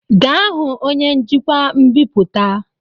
Gaa hụ onye njikwa mbipụta!